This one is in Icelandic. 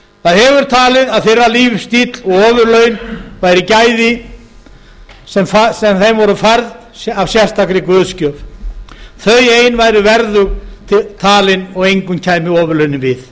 það hefur talið að þeirra líf stíll og ofurlaun væru gæði sem þeim voru færð af sérstakri guðsgjöf þau ein væru verðug talin og engum kæmu ofurlaunin við